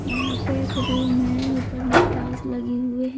यहां पे एक रूम है ऊपर में टाइल्स लगी हुई है।